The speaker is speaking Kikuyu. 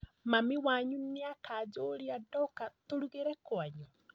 Mami wanyũ nĩ akajũria ndoka tũrugĩre kwanyu?